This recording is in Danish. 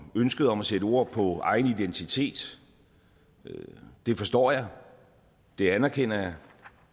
ønsket om at sætte ord på egen identitet det forstår jeg det anerkender jeg